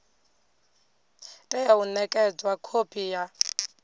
tea u nekedzwa khophi ya